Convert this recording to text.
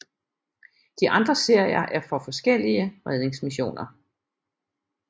De andre serier er for forskellige redningsmissioner